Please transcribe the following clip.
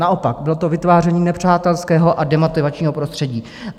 Naopak, bylo to vytváření nepřátelského a demotivačního prostředí.